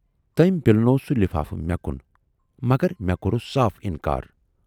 "تٔمۍ پِلنوو سُے لِفافہٕ مےٚ کُن، مگر مےٚ کورُس صاف اِنکار۔